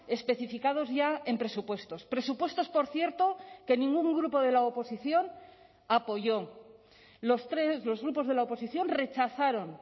especificados ya en presupuestos presupuestos por cierto que ningún grupo de la oposición apoyó los tres los grupos de la oposición rechazaron